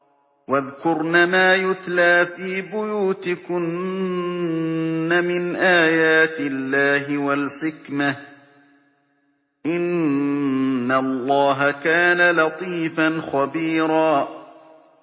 وَاذْكُرْنَ مَا يُتْلَىٰ فِي بُيُوتِكُنَّ مِنْ آيَاتِ اللَّهِ وَالْحِكْمَةِ ۚ إِنَّ اللَّهَ كَانَ لَطِيفًا خَبِيرًا